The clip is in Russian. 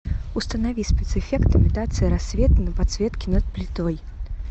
установи спецэффект имитация рассвета на подсветке над плитой